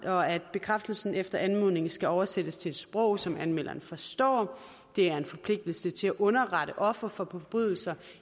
og at bekræftelsen efter anmodning skal oversættes til et sprog som anmelderen forstår det er en forpligtelse til at underrette ofre for forbrydelser